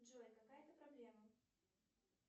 джой какая то проблема